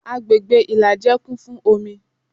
Agbègbè ìlàjẹ kún fún omi